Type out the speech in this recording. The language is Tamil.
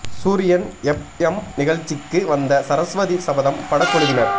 சூரியன் எப் எம் நிகழ்ச்சிக்கு வந்த சரஸ்வதி சபதம் பட குழுவினர்